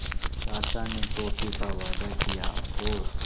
चाचा ने टॉफ़ी का वादा किया और